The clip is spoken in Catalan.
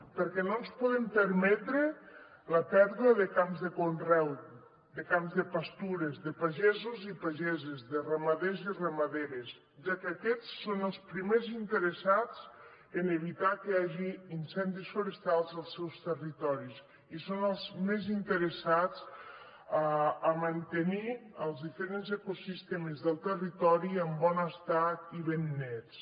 perquè no ens podem permetre la pèrdua de camps de conreu de camps de pastures de pagesos i pageses de ramaders i ramaderes ja que aquests són els primers interessats en evitar que hi hagi incendis forestals als seus territoris i són els més interessats a mantenir els diferents ecosistemes del territori en bon estat i ben nets